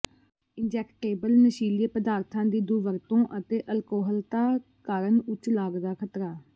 injectable ਨਸ਼ੀਲੇ ਪਦਾਰਥਾਂ ਦੀ ਦੁਰਵਰਤੋਂ ਅਤੇ ਅਲਕੋਹਲਤਾ ਉੱਚ ਲਾਗ ਦਾ ਖਤਰਾ